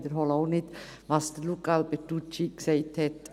Ich wiederhole auch nicht, was Luca Alberucci gesagt hat.